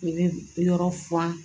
U bɛ yɔrɔ furan